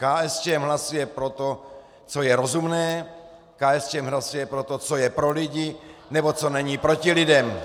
KSČM hlasuje pro to, co je rozumné, KSČM hlasuje pro to, co je pro lidi nebo co není proti lidem!